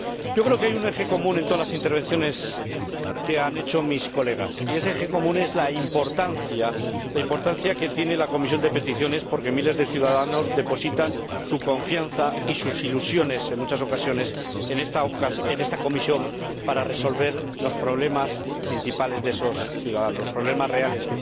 Yo creo que hay un eje común en todas las intervenciones que han hecho mis colegas. Y ese eje común es la importancia que tiene la Comisión de Peticiones, porque miles de ciudadanos depositan su confianza y sus ilusiones, en muchas ocasiones, en esta comisión para resolver sus problemas principales, sus problemas reales.